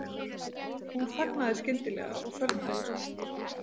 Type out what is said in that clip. Hún þagnaði skyndilega og fölnaði.